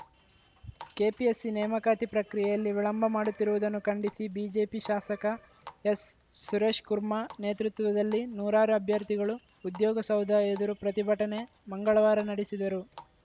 KPSC ನೇಮಕಾತಿ ಪ್ರಕ್ರಿಯೆಯಲ್ಲಿ ವಿಳಂಬ ಮಾಡುತ್ತಿರುವುದನ್ನು ಖಂಡಿಸಿ ಬಿಜೆಪಿ ಶಾಸಕ ಎಸ್‌ಸುರೇಶ್‌ಕುರ್ಮಾ ನೇತೃತ್ವದಲ್ಲಿ ನೂರಾರು ಅಭ್ಯರ್ಥಿಗಳು ಉದ್ಯೋಗಸೌಧ ಎದುರು ಪ್ರತಿಭಟನೆ ಮಂಗಳವಾರ ನಡೆಸಿದರು